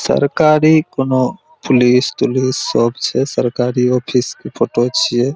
सरकारी कोनो पुलिस तुलिस सब छै सरकारी ऑफिस के फोटो छिय|